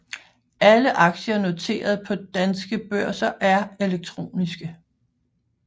Alle aktier noteret på danske børser er elektroniske